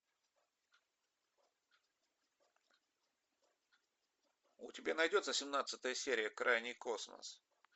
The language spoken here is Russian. у тебя найдется семнадцатая серия крайний космос